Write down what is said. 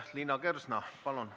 Liina Kersna, palun!